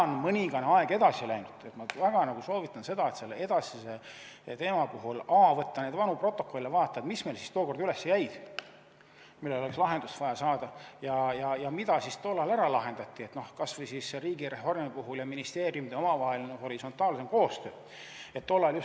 Nüüd on mõningane aeg edasi läinud ja ma väga soovitan võtta ette neid vanu protokolle ja vaadata, mis meil tookord üles jäi, millele oleks vaja lahendust saada ja mis tol ajal ära lahendati, kas või riigireformi puhul ja ministeeriumide omavahelise horisontaalsema koostöö puhul.